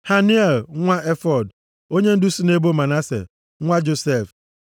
Haniel nwa Efod, onyendu si nʼebo Manase, nwa Josef.